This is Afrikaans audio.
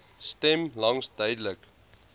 stem langs duidelik